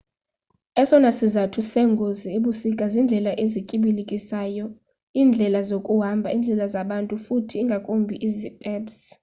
esona sizathu seengozi ebusika ziindlela ezityibilikisayo iindlela zokuhamba indlela zabantu futhi ingakumbi iziteps